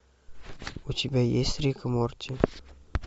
у тебя есть рик и морти